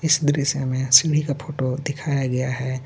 इस दृश्य मे सीडी का फोटो दिखाया गया हे.